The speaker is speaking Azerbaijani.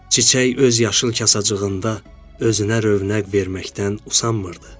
Çiçək öz yaşıl kasacığında özünə rövnəq verməkdən usanmırdı.